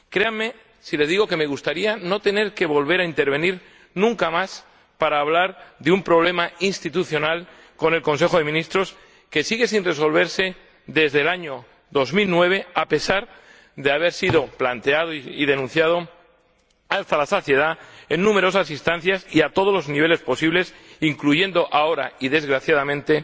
Créame si le digo que me gustaría no tener que volver a intervenir nunca más para hablar de un problema institucional con el Consejo de Ministros que sigue sin resolverse desde el año 2009, a pesar de haber sido planteado y denunciado hasta la saciedad en numerosas instancias y a todos los niveles posibles, incluyendo ahora, y desgraciadamente,